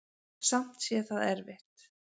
Samt sé það erfitt.